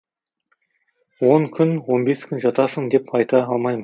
он күн он бес күн жатасың деп айта алмайм